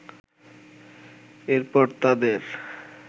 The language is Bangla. এর পর তাদের